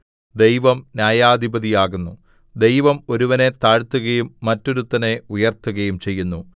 ദൈവം ന്യായാധിപതിയാകുന്നു ദൈവം ഒരുവനെ താഴ്ത്തുകയും മറ്റൊരുത്തനെ ഉയർത്തുകയും ചെയ്യുന്നു